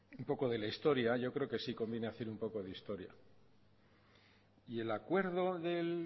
un poco de la historia yo creo que sí conviene hacer un poco de historia y el acuerdo del